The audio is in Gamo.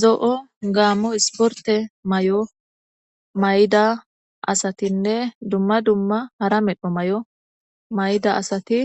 Zo'o gaammo isporte may'o may'ida asatinne dumma dumma hara medho may'o may'ida asati